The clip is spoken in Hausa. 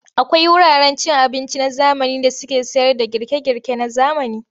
Akwai wuraren cin abinci na zamani da suke sayarda girke-girke na zamani.